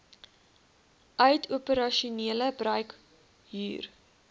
uit operasionele bruikhuur